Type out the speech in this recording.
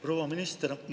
Proua minister!